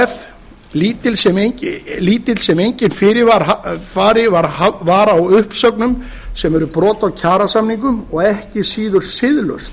kef o h f lítill sem enginn fyrirvari var á uppsögnum sem er brot á kjarasamningum og ekki síður siðlaust